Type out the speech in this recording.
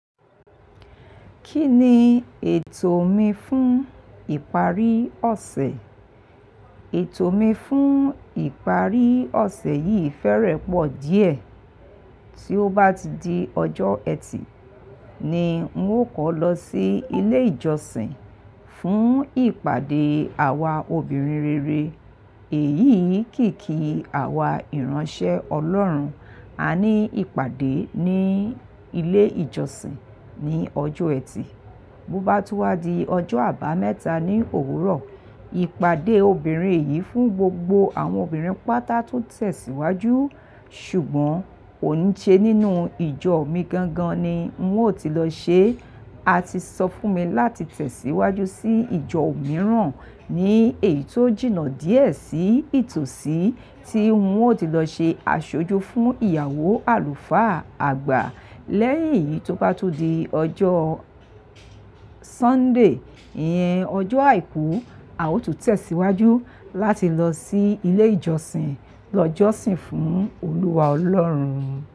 Kí ni ètò mi fún ìparí ọ̀sẹ̀? Ètò mi fún ìparí ọ̀sẹ̀ yìí fẹ́rẹ̀ẹ́ pọ̀ díẹ̀. Tí ó bá ti di ọjọ́ ẹtì ni ń ó kọ́ lọ sí ilé ìjọsìn fún ìpàdé àwa obìnrin rere. Èyí kì í kí àwa ìránṣẹ́ Ọlọ́run. A ní ìpàdé ní ilé ìjọsìn ní ọjọ́ ẹtì. Bo bá tú wá di ọjọ́ àbámẹ́ta ní òwúrọ̀, ìpàdé obìnrin yìí fún gbogbo àwọn obìnrin pátá tó tẹ̀síwájú. Ṣùgbọ́n kò ní ṣe nínú ìjọ mi gangan ni ń ó ti lọ ṣe. A ti sọ fún mi láti tẹ̀síwájú sí ìjọ mìíràn ní èyí tó jìnnà díẹ̀ sí ìtòsí tí ń ó ti lọ ṣe aṣojú fún ìyàwó àlùfáà àgbà. Lẹ́yìn eyìí tó bá tún di ọjọ́ Sunday, ìyẹn ọjọ́ àìkú, a ó tún tẹ̀síwájú láti lọ sí ilé ìjọsìn lọ jọ́sìn fún Olúwa Ọlọ́run.